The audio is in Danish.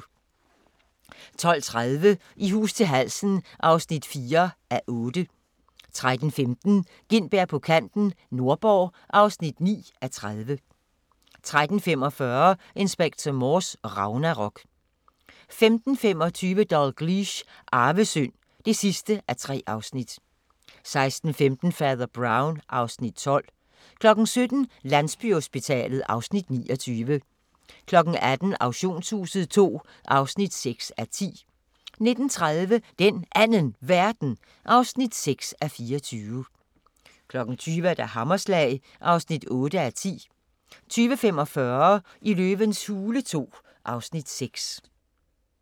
12:30: I hus til halsen (4:8) 13:15: Gintberg på kanten – Nordborg (9:30) 13:45: Inspector Morse: Ragnarok 15:25: Dalgliesh: Arvesynd (3:3) 16:15: Fader Brown (Afs. 12) 17:00: Landsbyhospitalet (Afs. 29) 18:00: Auktionshuset II (6:10) 19:30: Den Anden Verden (6:24) 20:00: Hammerslag (8:10) 20:45: Løvens hule II (Afs. 6)